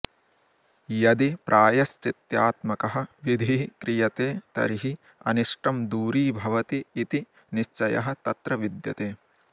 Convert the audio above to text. यदि प्रायश्चित्त्यात्मकः विधिः क्रियते तर्हि अनिष्टं दूरीभवति इति निश्चयः तत्र विद्यते